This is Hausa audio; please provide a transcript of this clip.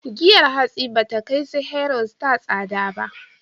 Giyar hatsi ba ta kai su Hero, Star tsada ba.